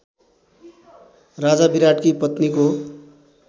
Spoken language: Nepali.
राजा विराटकी पत्नीको